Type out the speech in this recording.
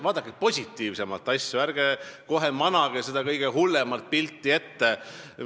Vaadake asju positiivsemalt, ärge kohe seda kõige hullemat pilti silme ette manage.